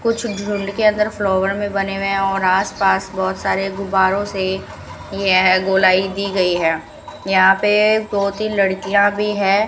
कुछ ढूंढ के अंदर फ्लावर में बने हुए और आसपास बहुत सारे गुब्बारों से यह गोलाई दी गई है यहां पे दो तीन लड़कियां भी है।